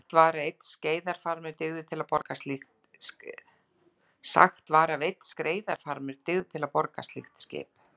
Sagt var að einn skreiðarfarmur dygði til að borga slíkt skip.